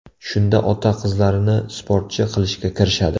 Shunda ota qizlarini sportchi qilishga kirishadi.